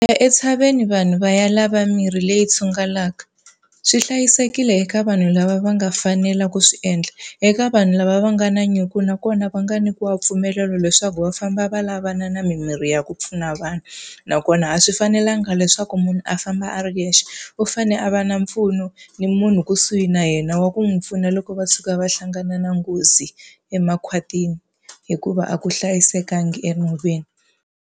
entshaveni vanhu va ya lava mirhi leyi tshungulaka. Swi hlayisekile eka vanhu lava va nga fanela ku swi endla eka vanhu lava va nga na nyiko nakona va nga nyikiwa mpfumelelo leswaku va famba va lavana na mimirhi ya ku pfuna vanhu. Nakona a swi fanelanga leswaku munhu a famba a ri yexe, u fanele a va na mpfuno ni munhu kusuhi na yena wa ku n'wi pfuna loko va tshuka va hlangana na nghozi emakhwatini. Hikuva a ku hlayisekanga enhoveni.